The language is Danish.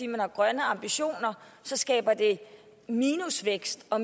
man har grønne ambitioner skaber det minusvækst og